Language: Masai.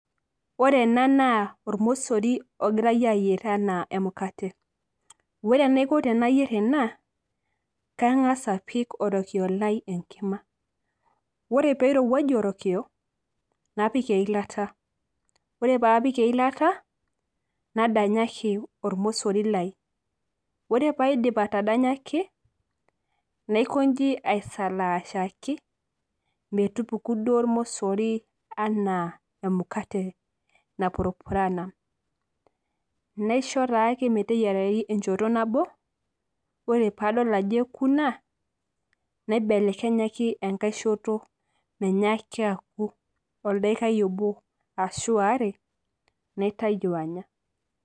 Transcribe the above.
ore ena naa olmosori logirae aayier anaa emukate, ore enaiko tenayier ena, kangas apik orokioyo lai enkima, ore pee irowuaju orokiyo, napik eilata, ore pee apik eilata, nadanyaki ormosori lai. ore pee aidip atadanyaki, naikoji aisalashaki metupuku duo ormosri anaa emukate napurupurana. naisho taake meteyiarayu enchoto nabo. ore pee adol ajo eku ina, naibelekenyaki enkae shoto menyaaki aku, oldaikai obo ashu waare, naitayu anya.